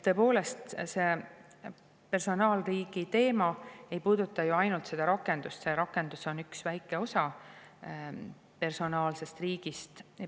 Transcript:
Tõepoolest, personaalriigi teema ei puuduta ju ainult seda rakendust, see rakendus on üks väike osa personaalsest riigist.